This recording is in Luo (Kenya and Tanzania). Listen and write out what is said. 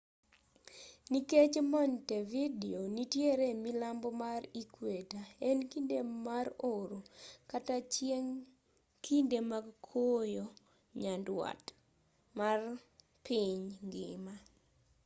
nikech montevideo nitiere milambo mar equator en kinde mar oro/chieng' kinde mag koyo nyanduat mar piny ngima